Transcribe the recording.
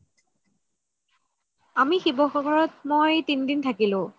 আমি শিৱসাগত মই তিন দিন থাকিলো